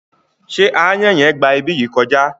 Ṣé aáyàn yen gba ibi yìí kọjá?